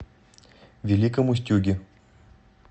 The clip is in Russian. великом устюге